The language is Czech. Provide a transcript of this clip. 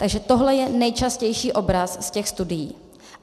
Takže tohle je nejčastější obraz z těch studií.